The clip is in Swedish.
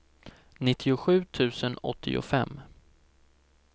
nittiosju tusen åttiofem